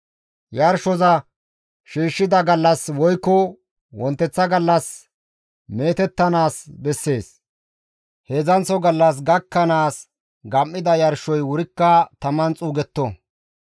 Yarshoza shiishshida gallas woykko wonteththa gallas meetettanaas bessees; heedzdzanththo gallas gakkanaas gam7ida yarshoy wurikka taman xuugetto.